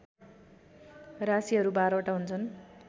राशिहरू १२ वटा हुन्छन्